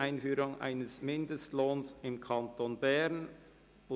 Einführung eines Mindestlohns im Kanton Bern».